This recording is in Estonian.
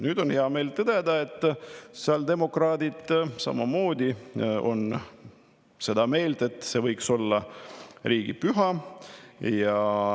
Nüüd on hea meel tõdeda, et sotsiaaldemokraadid on samamoodi seda meelt, et see võiks olla riigipüha.